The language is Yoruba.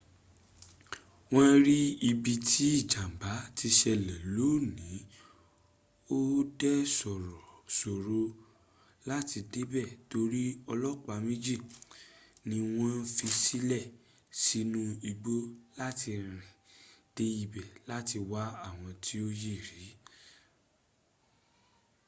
won ri ibi tí ìjàmbá ti ṣẹlẹ̀ lóní ò dẹ́ ṣòró láti débẹ̀ torí olopa méjì ní wọ́n fisílẹ̀ sínu igbó láti rìn dé ibẹ̀ láti wá àwọn tí ó yẹ̀ rí